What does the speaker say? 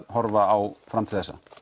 horfa á fram til þessa